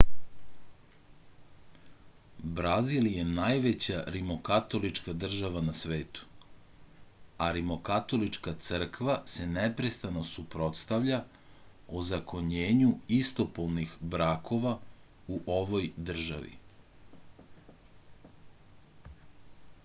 brazil je najveća rimokatolička država na svetu a rimokatolička crkva se neprestano suprotstavlja ozakonjenju istopolnih brakova u ovoj državi